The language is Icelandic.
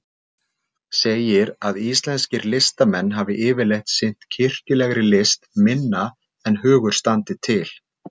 Segir að íslenskir listamenn hafi yfirleitt sinnt kirkjulegri list minna en hugur standi til.